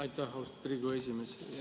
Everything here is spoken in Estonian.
Aitäh, austatud Riigikogu esimees!